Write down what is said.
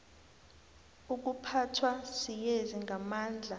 ukuphathwa siyezi ngamandla